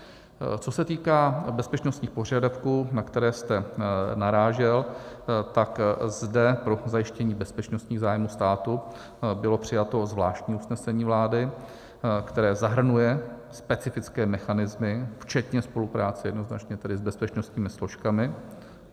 Co se týká bezpečnostních požadavků, na které jste narážel, tak zde pro zajištění bezpečnostních zájmů státu bylo přijato zvláštní usnesení vlády, které zahrnuje specifické mechanismy včetně spolupráce jednoznačně tedy s bezpečnostními složkami.